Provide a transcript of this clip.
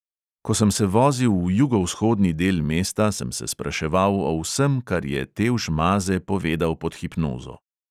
Ko sem se vozil v jugovzhodni del mesta, sem se spraševal o vsem, kar je tevž maze povedal pod hipnozo.